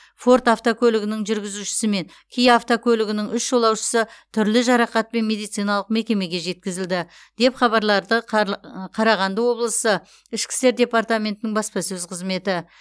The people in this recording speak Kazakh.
форд автокөлігінің жүргізушісі мен киа автокөлігінің үш жолаушысы түрлі жарақатпен медициналық мекемеге жеткізілді деп хабарлады қарлы қарағанды облысы ішкі істер департаментінің баспасөз қызметі